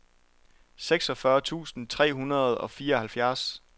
seksogfyrre tusind tre hundrede og fireoghalvfjerds